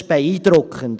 Das ist beeindruckend.